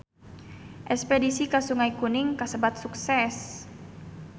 Espedisi ka Sungai Kuning kasebat sukses